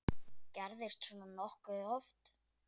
Gerist svona nokkuð oft?